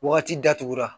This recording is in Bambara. Wagati datugura